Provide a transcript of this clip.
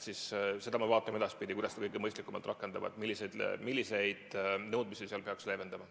Me vaatame edaspidi, kuidas seda kõige mõistlikumalt rakendada ja milliseid nõudmisi peaks leevendama.